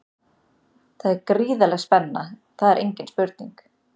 Það er gríðarleg spenna, það er engin spurning.